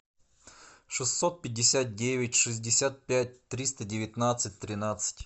шестьсот пятьдесят девять шестьдесят пять триста девятнадцать тринадцать